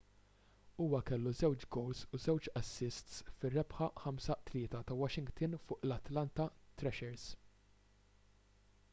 huwa kellu 2 gowls u 2 assists fir-rebħa 5-3 ta' washington fuq l-atlanta thrashers